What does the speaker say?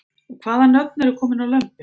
Og hvaða nöfn eru komin á lömbin?